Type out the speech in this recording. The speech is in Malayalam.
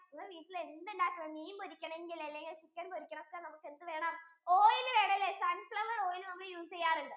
വീട്ടിൽ എന്ത് ഉണ്ടാകണമെങ്കിലും മീൻ പൊറുക്കണം അല്ലെങ്കിൽ ചിക്കൻ പൊരിക്കണമെങ്കിലും ഒക്കെ നമുക്കു എന്ത് വേണം oil വേണല്ലേ sunfloweroil നമ്മൾ use ചെയ്യാറുണ്ട്